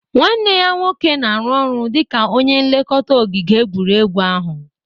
Nwanne ya nwoke na-arụ ọrụ dịka onye nlekọta ogige egwuregwu ahu